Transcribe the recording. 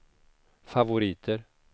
favoriter